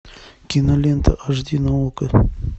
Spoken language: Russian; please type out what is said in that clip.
кинолента аш ди на окко